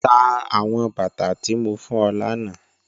Tá awọn bátà tí mó fún ọ lána